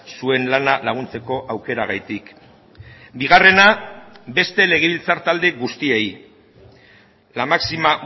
zuen lana laguntzeko aukeragatik bigarrena beste legebiltzar talde guztiei la máxima